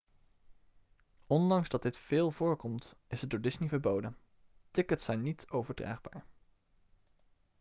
ondanks dat dit veel voorkomt is het door disney verboden tickets zijn niet overdraagbaar